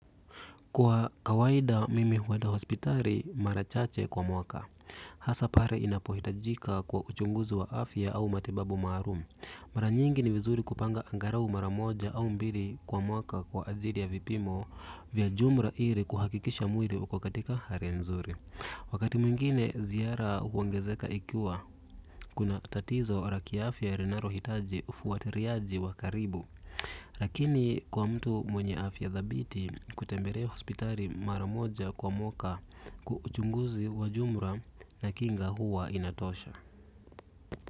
Kwa kawaida mimi hueda hospitari marachache kwa mwaka. Hasa pare inapohitajika kwa uchunguzi wa afya au matibabu maarum. Mara nyingi ni vizuri kupanga angarau maramoja au mbili kwa mwaka kwa ajiri ya vipimo vya jumra iri kuhakikisha mwiri uko katika hari nzuri. Wakati mwingine ziara huongezeka ikiwa, kuna tatizo raki afya renaro hitaji ufuatiriaji wa karibu. Lakini kwa mtu mwenye afya dhabiti kutemberea hospitali maramoja kwa mwoka kuchunguzi wajumra na kinga huwa inatosha.